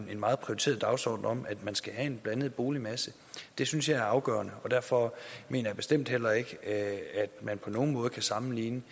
en meget prioriteret dagsorden om at man skal have en blandet boligmasse det synes jeg er afgørende derfor mener jeg bestemt heller ikke at man på nogen måde kan sammenligne